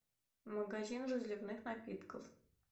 магазин разливных напитков